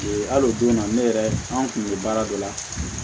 Ee hali o don na ne yɛrɛ an kun bɛ baara dɔ la